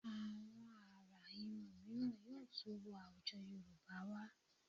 Àwọn àrà irun mìíràn yóò tún wọ àwùjọ Yorùbá wá